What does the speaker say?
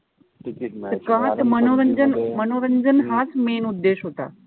का त मनोरंजन मनोरंजन हाच उद्देश होता.